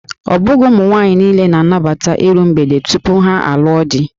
Ọ bụghị ụmụ agbọghọ niile na-anabata iru mgbede tupu ha alụọ di